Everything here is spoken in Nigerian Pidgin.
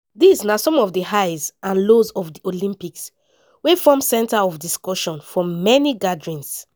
dis na some of di highs and lows of di olympics wey form centre of discussion for many gatherings.